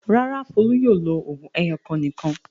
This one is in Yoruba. Rárá, Folú yóò lo òògùn ẹyọ̀kan nìkan.